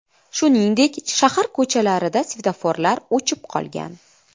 Shuningdek, shahar ko‘chalarida svetoforlar o‘chib qolgan.